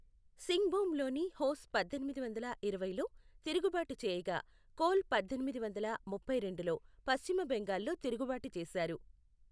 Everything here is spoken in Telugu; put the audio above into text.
సింగ్భూమ్లోని హోస్ పద్దెనిమిది వందల ఇరవైలో తిరుగుబాటు చేయగా, కోల్ పద్దెనిమిది వందల ముప్పై రెండులో పశ్చిమ బెంగాల్లో తిరుగుబాటు చేశారు.